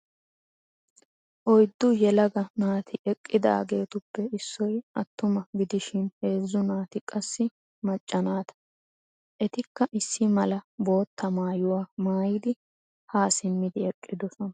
Oyddu yelaga naati eqqidaageetuppe issoy attuma gidishin heezzu naati qassi macca naata. Etikka issi mala bootta maayuwa maayidi haa simmidi eqqidosona.